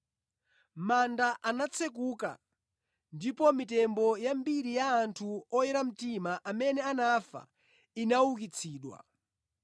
Manda anatsekuka ndipo mitembo yambiri ya anthu oyera mtima amene anafa inaukitsidwa.